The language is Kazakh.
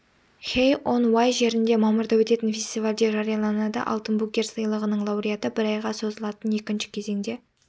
хей-он-уай жерінде мамырда өтетін фестивальде жарияланады алтын букер сыйлығының лауреаты бір айға созылатын екінші кезеңде